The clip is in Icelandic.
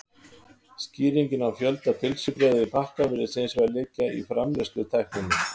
Skýringin á fjölda pylsubrauða í pakka virðist hins vegar liggja í framleiðslutækninni.